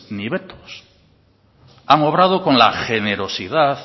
ni vetos han obrado con la generosidad